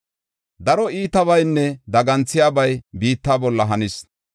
“Daro iitabaynne daganthiyabay biitta bolla hanis.